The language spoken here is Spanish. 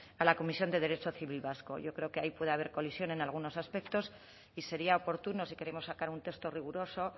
a la comisión de derecho civil vasco y yo creo que ahí puede haber colisión en algunos aspectos y sería oportuno si queremos sacar un texto riguroso